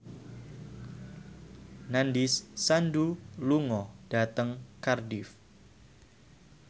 Nandish Sandhu lunga dhateng Cardiff